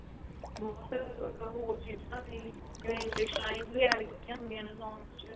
ਬਹੁਤ ਹੋਰ ਚੀਜ਼ਾ ਵੀ ਜਿਵੇਂ english lines ਵੀ add ਕੀਤੀਆਂ ਹੁੰਦੀਆ ਨੇ songs ਚ